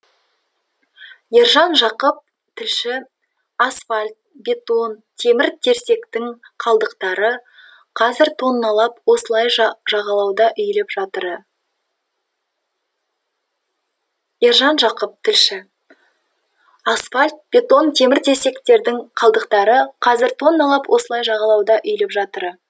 ержан жақып тілші асфальт бетон темір терсектің қалдықтары қазір тонналап осылай жағалауда үйіліп жатыры ержан жақып тілші асфальт бетон темір терсектің қалдықтары қазір тонналап осылай жағалауда үйіліп жатыры